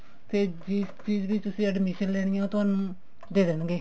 ਤੇ ਜਿਸ ਚੀਜ਼ ਤੁਸੀਂ admission ਲੈਣੀ ਹੈ ਉਹ ਤੁਹਾਨੂੰ ਦੇ ਦੇਣਗੇ